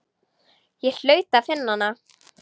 Ég hlaut að finna hana.